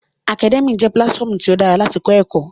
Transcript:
Akadẹ́míà jẹ́ pílátífọmu tí ó dára láti kọ́ ẹ̀kọ́